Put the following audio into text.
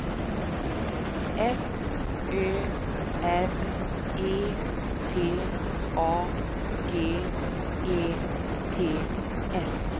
F Ö R E T A G E T S